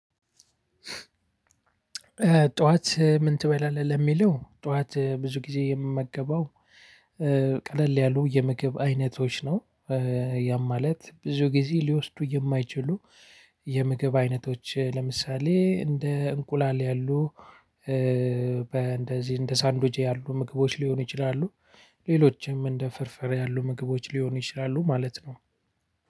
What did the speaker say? ጠዋት ምን ትበላለህ ለሚለው ጠዋት ብዙ ጊዜ የምመገበው ቀለል ያሉ የምግብ አይነቶች ነው። ያም ማለት ብዙ ጊዜ ሊወስዱ የማይችሉ የምግብ አይነቶች ለምሳሌ እንደ እንቁላል ያሉ። በእንደዚህ እንደ ሳንዱች ያሉ ምግቦች ሊሆኑ ይችላሉ። ሌሎችም እንደ ፍርፍር ያሉ ምግቦች ሊሆኑ ይችላሉ ማለት ነው።